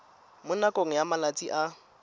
mo nakong ya malatsi a